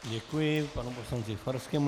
Děkuji panu poslanci Farskému.